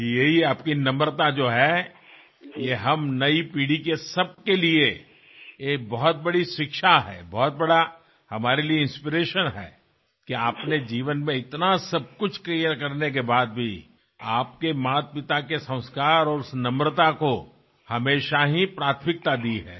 जी यही आपकी नम्रता जो है ये हम नयी पीढ़ी के सबके लिये ये बहुत बड़ी शिक्षा है बहुत बड़ा हमारे लिये इंस्पिरेशन है कि आपने जीवन में इतना सब कुछ क्लीयर करने के बाद भी आपके मातपिता के संस्कार और उस नम्रता को हमेशा ही प्राथमिकता दी है